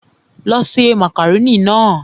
Lọ ṣe màkàrónì náà!